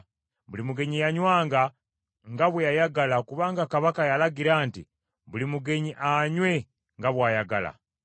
Buli mugenyi yanywanga nga bwe yayagala kubanga kabaka yalagira nti, “Buli mugenyi anywe nga bw’ayagala.”